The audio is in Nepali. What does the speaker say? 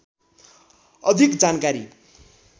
अधिक जानकारी